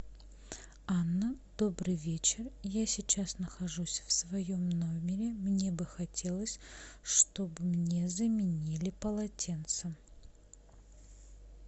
анна добрый вечер я сейчас нахожусь в своем номере мне бы хотелось чтобы мне заменили полотенце